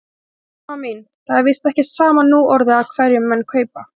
Selma mín, það er víst ekki sama núorðið af hverjum menn kaupa.